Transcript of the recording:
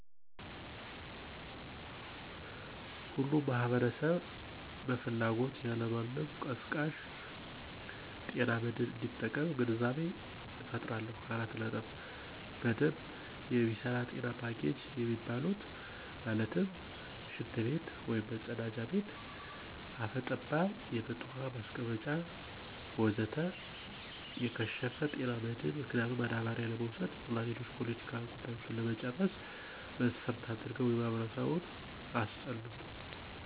ሁሉም ማህበረሰብ በፍላጎት ያለማንም ቀስቃሽ ጤና መድህን እንዲጠቀም ግንዛቤ እፈጥራለሁ። በደንብ የሚሰራ ጤና ፖኬጅ የሚባሉት ማለትም፦ ሽንት ቤት(መፀዳጃ ቤት)፣ አፈ ጠባብ የመጠጥ ውሀ ማስቀመጫ ወዘተ... የከሸፈ፦ ጤና መድህን ምክንያቱም ማዳበሪያ ለመውሰድ እና ሌሎች የፖለቲካ ጉዳዮችን ለመጨረስ መስፈርት አድርገው በማህበረሰቡ አስጠሉት።